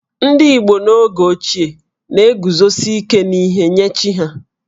Ndị Igbo oge ochie na-eguzosi ike n'ihe nye chi ha